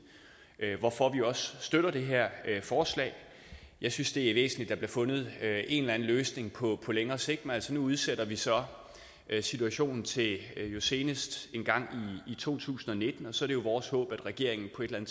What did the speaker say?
hvorfor vi også støtter det her forslag jeg synes det er væsentligt at der bliver fundet en eller anden løsning på længere sigt men altså nu udsætter vi jo så situationen til senest engang i to tusind og nitten så er det jo vores håb at regeringen på et eller